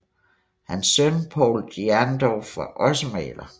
Hans søn Povl Jerndorff var også maler